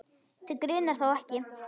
Þig grunar þó ekki?.